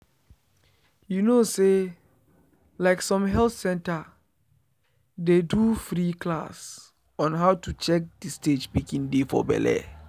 you know say like some health center dey do free class on how to check the stage pikin dey for belle.